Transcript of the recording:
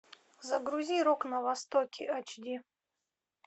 загрузи рок на востоке ач ди